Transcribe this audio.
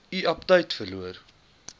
u aptyt verloor